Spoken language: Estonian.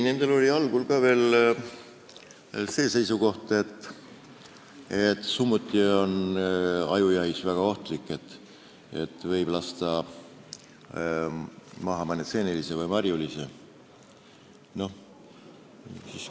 Neil oli algul ka veel see seisukoht, et summuti on ajujahil väga ohtlik, sest võidakse maha lasta mõni seeneline või marjuline.